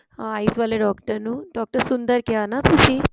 eyes ਵਾਲੇ doctor ਨੂੰ doctor Sundar ਕਿਆ ਨਾ ਤੁਸੀਂ